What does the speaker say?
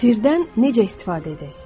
Sirdən necə istifadə edək?